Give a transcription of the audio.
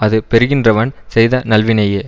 அது பெறுகின்றவன் செய்த நல்வினையே